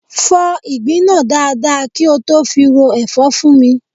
Fọ́ ìgbín náà dáadáa kí ó tó fi ro ẹ̀fọ́ fún mi.